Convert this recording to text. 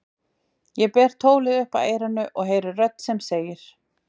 Ég ber tólið upp að eyranu og heyri rödd sem segir